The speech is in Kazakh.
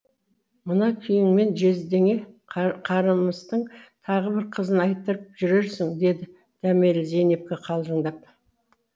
мына күйіңмен жездеңе қарымыстың тағы бір қызын айттырып жүрерсің деді дәмелі зейнепке қалжыңдап